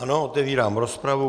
Ano, otevírám rozpravu.